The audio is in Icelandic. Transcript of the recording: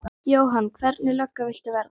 Jóhann: Hvernig lögga viltu verða?